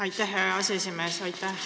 Aitäh, hea aseesimees!